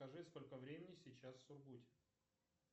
скажи сколько времени сейчас в сургуте